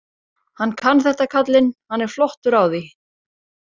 Hann kann þetta kallinn, hann er flottur á því.